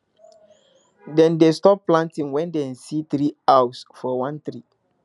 dem dey stop planting when dem see three owls for one tree